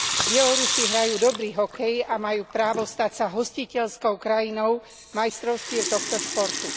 Bielorusi hrajú dobrý hokej a majú právo stať sa hostiteľskou krajinou majstrovstiev tohto športu.